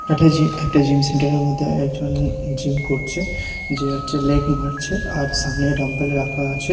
একটা জি একটা জিম সেন্টার -এর মদ্যে একজন জিম করচে যে হচ্চে লেগ মারছে আর সামনে ডাম্বেল রাখা আছে।